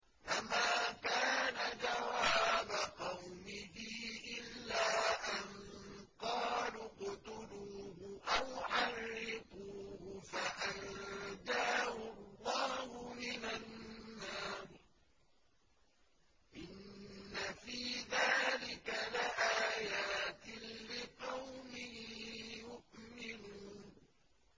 فَمَا كَانَ جَوَابَ قَوْمِهِ إِلَّا أَن قَالُوا اقْتُلُوهُ أَوْ حَرِّقُوهُ فَأَنجَاهُ اللَّهُ مِنَ النَّارِ ۚ إِنَّ فِي ذَٰلِكَ لَآيَاتٍ لِّقَوْمٍ يُؤْمِنُونَ